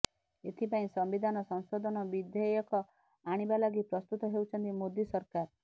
ଏଥିପାଇଁ ସମ୍ବିଧାନ ସଂଶୋଧନ ବିଧେୟକ ଆଣିବା ଲାଗି ପ୍ରସ୍ତୁତ ହେଉଛନ୍ତି ମୋଦୀ ସରକାର